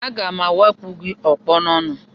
Aga m awa akụ gị ọkpọ n'ọnụ